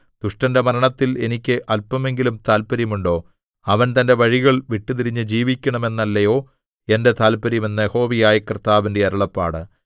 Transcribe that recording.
ദുഷ്ടന്റെ മരണത്തിൽ എനിക്ക് അല്പമെങ്കിലും താത്പര്യം ഉണ്ടോ അവൻ തന്റെ വഴികൾ വിട്ടുതിരിഞ്ഞ് ജീവിക്കണം എന്നല്ലയോ എന്റെ താത്പര്യം എന്ന് യഹോവയായ കർത്താവിന്റെ അരുളപ്പാട്